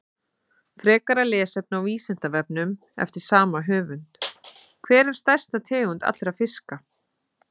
Frekara lesefni á Vísindavefnum eftir sama höfund: Hver er stærsta tegund allra fiska?